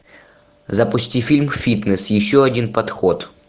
запусти фильм фитнес еще один подход